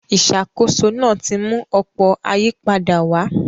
Ìṣàkóso náà ti mú ọ̀pọ̀ ayípadà wá.